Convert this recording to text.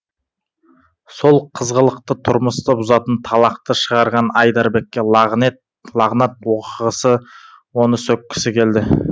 сол қызғылықты тұрмысты бұзатын талақты шығарған айдарбекке лағнат оқығысы оны сөккісі келді